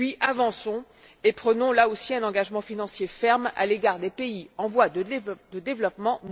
Avançons et prenons, là aussi, un engagement financier ferme à l'égard des pays en voie de développement!